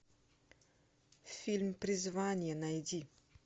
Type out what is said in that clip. фильм призвание найди